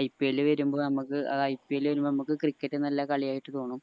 IPL വരുമ്പോ നമുക്ക് ആ IPL വരുമ്പോ നമുക്ക് cricket നല്ല കളിയായിട്ട് തോന്നും